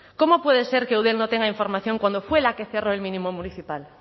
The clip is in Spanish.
cómo puede ser que eudel no tenga información cuando fue la que cerró el mínimo municipal